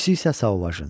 İkisi isə Sauvajın.